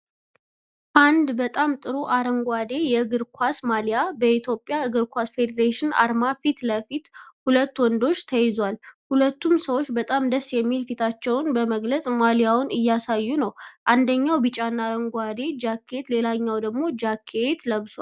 አንድ በጣም ጥሩ አረንጓዴ የእግር ኳስ ማሊያ በኢትዮጵያ እግር ኳስ ፌዴሬሽን አርማ ፊት ለፊት በሁለት ወንዶች ተይዟል። ሁለቱም ሰውች በጣም ደስ የሚል ፊታቸውን በመግለጽ ማሊያውን እያሳዩ ነው። አንደኛው ቢጫና አረንጓዴ ጃኬት ሌላኛው ደግሞ ጃኬት ለብሰዋል።